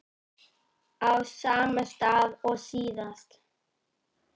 Á sama stað og síðast.